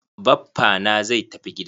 Baffa na zai tafi gida.